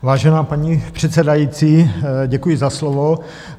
Vážená paní předsedající, děkuji za slovo.